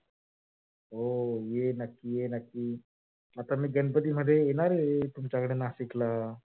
हो ये. नक्की ये. नक्की आता मी गणपती मध्ये येणार आहे. तुमच्याकडे नाशिक ला.